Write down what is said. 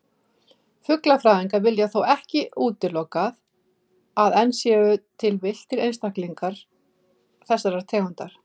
Fuglafræðingar vilja þó ekki útilokað að enn séu til villtir einstaklingar þessarar tegundar.